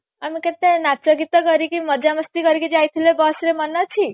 ଆମେ କେତେ ନାଚ ଗୀତ କରିକି ମଜା ମସ୍ତି କରିକି ଯାଇଥିଲେ bus ରେ ମନେ ଅଛି